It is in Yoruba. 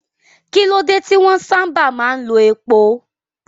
Kí ló dé tí wọ́n sábà máa ń lo epo?